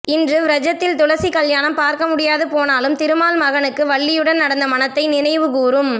இன்று வ்ரஜத்தில் துளசி கல்யாணம் பார்க்க முடியாது போனாலும் திருமால் மருகனுக்கு வள்ளியுடன் நடந்த மணத்தை நினைவுகூரும்